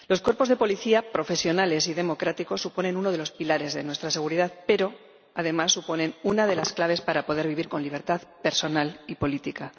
Los cuerpos de policía, profesionales y democráticos, suponen uno de los pilares de nuestra seguridad pero, además, suponen una de las claves para poder vivir con libertad personal y política.